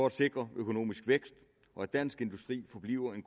at sikre økonomisk vækst og at dansk industri forbliver en